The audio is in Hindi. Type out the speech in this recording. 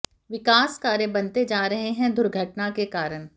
विकास कार्य बनते जा रहें है दुर्घटना के कारण